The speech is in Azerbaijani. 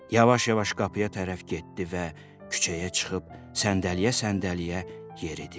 Yavaş-yavaş qapıya tərəf getdi və küçəyə çıxıb səndəliyə-səndəliyə yeridi.